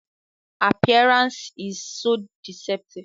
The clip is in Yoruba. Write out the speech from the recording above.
Oiho buuk’ e ká koolo bi s’upekun dá lẹ dá ma.